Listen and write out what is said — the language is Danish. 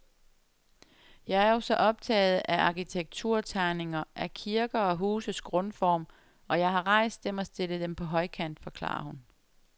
Jeg er jo så optaget af arkitekturtegninger, af kirker og huses grundform, og jeg har rejst dem og stillet dem på højkant, forklarer hun.